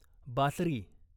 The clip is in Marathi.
बासरी